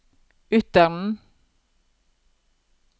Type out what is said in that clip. Ytteren